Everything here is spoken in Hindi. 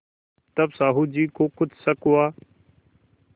तब साहु जी को कुछ शक हुआ